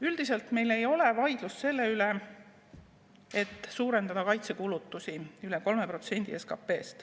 Üldiselt meil ei ole vaidlust selle üle, et suurendada kaitsekulutusi rohkem kui 3%‑ni SKP-st.